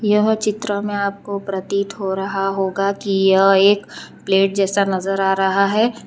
यह चित्र में आपको प्रतीत हो रहा होगा कि यह एक प्लेट जैसा नजर आ रहा है।